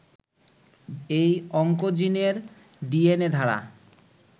এই অংকোজিনের ডিএনএ ধারা